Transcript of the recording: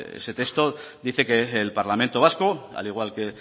ese texto dice que el parlamento vasco al igual que